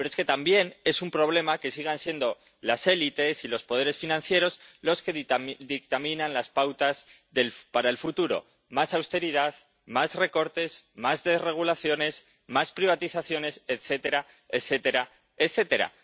Pero es que también es un problema que sigan siendo las élites y los poderes financieros los que dictaminan las pautas para el futuro más austeridad, más recortes, más desregulaciones, más privatizaciones, etcétera, etcétera, etcétera.